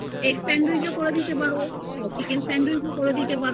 ওই তুমি egg sandwich ও করে দিতে পারো chicken sandwich ও